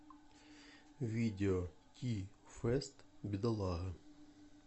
видео ти фэст бедолага